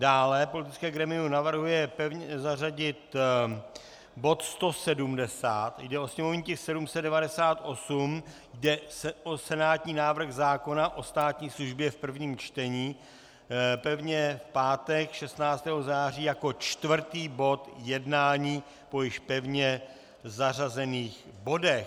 Dále politické grémium navrhuje pevně zařadit bod 170, jde o sněmovní tisk 798, jde o senátní návrh zákona o státní službě v prvním čtení, pevně v pátek 16. září jako čtvrtý bod jednání po již pevně zařazených bodech.